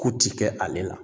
Ku ti kɛ ale la